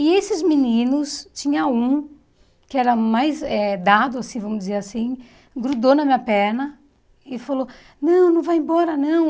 E esses meninos, tinha um que era mais eh dado, assim vamos dizer assim, grudou na minha perna e falou, não, não vai embora, não.